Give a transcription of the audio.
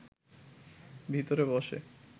ভিতরে বসে